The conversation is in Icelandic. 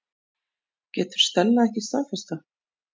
Getur Stella ekki staðfest það?